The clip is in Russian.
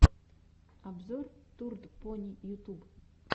обзор турд пони ютуб